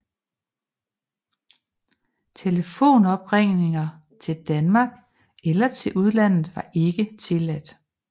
Telefoneringer til Danmark eller til udlandet var ikke tilladt